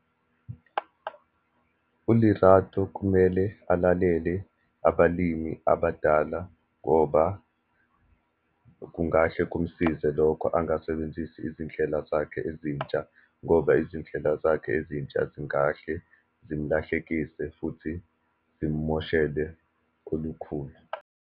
ULerato kumele alalele abalimi abadala, ngoba kungahle kumsize lokho. Angasebenzisi izindlela zakhe ezintsha, ngoba izindlela zakhe ezintsha zingahle zimlahlekise futhi zimoshele kolukhulu.